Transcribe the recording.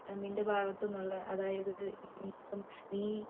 നിന്റെ ഭാഗത്തിന്ന് ഉള്ള അതായത് ഇപ്പം നീ ചെയ്തിട്ടുള്ള നിന്റെ ജീവബിത്തിൽ ആഹാരം